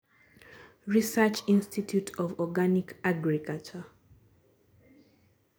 Research Institute of Organic Agriculture